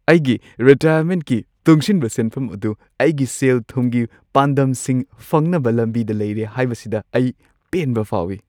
ꯑꯩꯒꯤ ꯔꯤꯇꯥꯏꯌꯔꯃꯦꯟꯠꯀꯤ ꯇꯨꯡꯁꯤꯟꯕ ꯁꯦꯟꯐꯝ ꯑꯗꯨ ꯑꯩꯒꯤ ꯁꯦꯜ-ꯊꯨꯝꯒꯤ ꯄꯥꯟꯗꯝꯁꯤꯡ ꯐꯪꯅꯕ ꯂꯝꯕꯤꯗ ꯂꯩꯔꯦ ꯍꯥꯏꯕꯁꯤꯗ ꯑꯩ ꯄꯦꯟꯕ ꯐꯥꯎꯏ꯫